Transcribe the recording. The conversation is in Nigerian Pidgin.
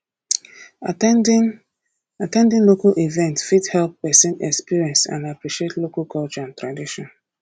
at ten ding at ten ding local events fit help person experience and appreciate local culture and tradition